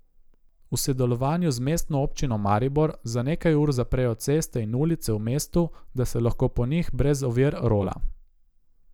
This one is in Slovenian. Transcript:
V sodelovanju z Mestno občino Maribor za nekaj ur zaprejo ceste in ulice v mestu, da se lahko po njih brez ovir rola.